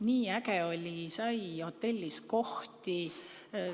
Nii äge oli, sai hotellis kohti.